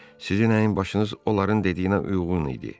Sizinəyin başınız onların dediyinə uyğun idi.